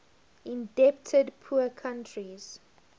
indebted poor countries